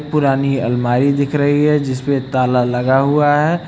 पुरानी अलमारी दिख रही है जिसमें ताला लगा हुआ है।